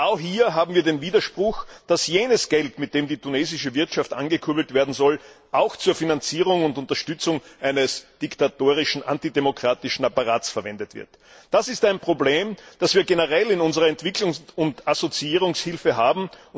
Und genau hier haben wir den Widerspruch, dass jenes Geld, mit dem die tunesische Wirtschaft angekurbelt werden soll, auch zur Finanzierung und Unterstützung eines diktatorischen, antidemokratischen Apparats verwendet wird. Das ist ein Problem, das wir generell bei unserer Entwicklungs und Assoziierungshilfe haben.